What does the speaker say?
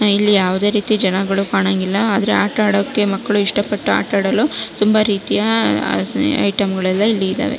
ಇಲ್ಲಿ ಯಾವುದೆ ರೀತಿ ಜನಗಳು ಕಾಣಂಗಿಲ್ಲ ಆದರೆ ಆಟ ಆಡೊಕ್ಕೆ ಮಕ್ಕಳು ಇಷ್ಟ ಪಟ್ಟು ಆಟ ಆಡಲು ತುಂಬಾ ರೀತಿಯ ಐಟೆಮ್ಗ ಳು ಎಲ್ಲ ಇಲ್ಲಿ ಇದವೆ.